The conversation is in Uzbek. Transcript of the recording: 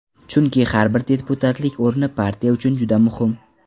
Chunki har bir deputatlik o‘rni partiya uchun juda muhim.